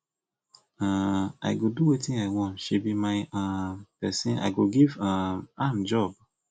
um i go do wetin i wan she be my um person i go give um am job